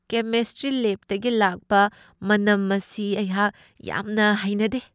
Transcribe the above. Chemistry ꯂꯦꯕꯇꯒꯤ ꯂꯥꯛꯄ ꯃꯅꯝ ꯑꯁꯤ ꯑꯩꯍꯥꯛ ꯌꯥꯝꯅ ꯍꯩꯅꯗꯦ ꯫